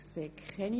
– Nein.